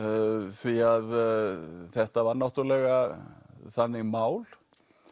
því að þetta var náttúrulega þannig mál